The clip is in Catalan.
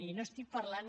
i no estic parlant